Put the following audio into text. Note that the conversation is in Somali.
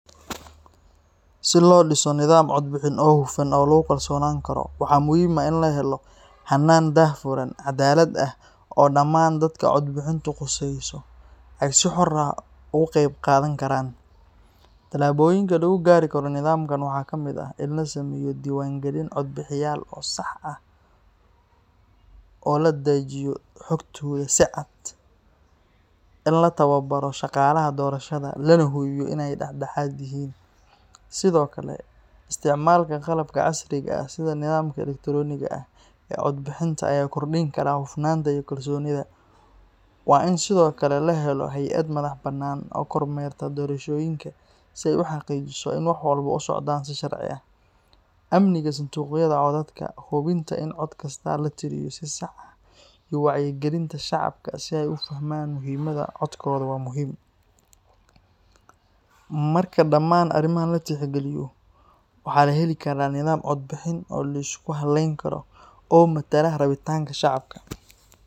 Si loo dhiso nidaam codbixin oo hufan oo lagu kalsoonaan karo, waxaa muhiim ah in la helo hannaan daahfuran, cadaalad ah, oo dhammaan dadka codbixintu khusayso ay si xor ah ugu qaybqaadan karaan. Tallaabooyinka lagu gaari karo nidaamkan waxaa ka mid ah: in la sameeyo diiwaangelin codbixiyayaal oo sax ah oo la daadejiyo xogtooda si cad, in la tababaro shaqaalaha doorashada, lana hubiyo in ay dhexdhexaad yihiin. Sidoo kale, isticmaalka qalabka casriga ah sida nidaamka elektarooniga ah ee codbixinta ayaa kordhin kara hufnaanta iyo kalsoonida. Waa in sidoo kale la helo hay’ad madax-bannaan oo kormeerta doorashooyinka si ay u xaqiijiso in wax walba u socdaan si sharci ah. Amniga sanduuqyada codadka, hubinta in cod kasta la tiriyo si sax ah, iyo wacyigelinta shacabka si ay u fahmaan muhiimadda codkooda waa muhiim. Marka dhammaan arrimahan la tixgeliyo, waxaa la heli karaa nidaam codbixin oo la isku halleyn karo oo matala rabitaanka shacabka.